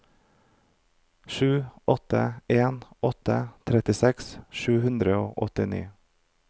sju åtte en åtte trettiseks sju hundre og åttini